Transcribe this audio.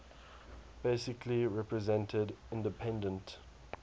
basically represented independent